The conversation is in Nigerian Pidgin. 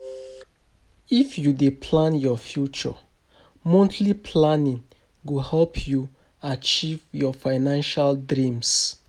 If you dey plan your future, monthly planning go help you achieve your financial dreams.